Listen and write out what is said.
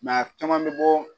a caman bɛ bɔ